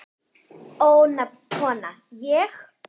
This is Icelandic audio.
Ónefnd kona: Ég?